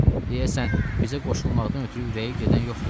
Deyəsən, bizə qoşulmaqdan ötrü ürəyi gedən yoxdur.